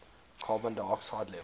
carbon dioxide levels